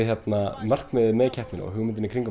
markmiðið með keppninni og hugmyndin í kringum